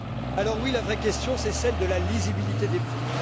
Alors oui, la vraie question c'est celle de la lisibilité des prix